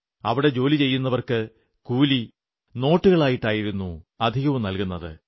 അവിടെ ജോലിചെയ്യുന്നവർക്ക് കൂലി രൂപാനോട്ടുകളായിട്ടാണു അധികവും നല്കുന്നത്